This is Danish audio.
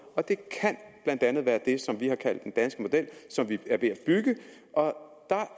og det kan blandt andet være det som vi har kaldt den danske model og som vi er ved